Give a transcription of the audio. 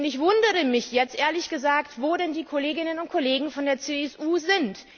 Ich wundere mich jetzt ehrlich gesagt wo denn die Kolleginnen und Kollegen von der CSU sind.